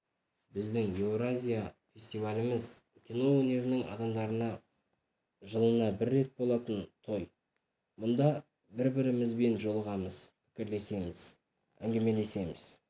біздің еуразия фестиваліміз кино өнерінің адамдарына жылына бір рет болатын той мұнда бір-бірімізбен жолығамыз пікірлесеміз әңгімелесеміз